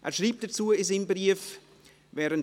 Er schreibt dazu in seinem Brief: «